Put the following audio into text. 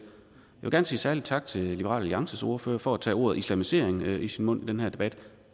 jeg sige en særlig tak til liberal alliances ordfører for at tage ordet islamisering i sin mund i den her debat